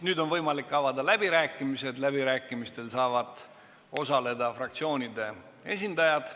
Nüüd on võimalik avada läbirääkimised, läbirääkimistel saavad osaleda fraktsioonide esindajad.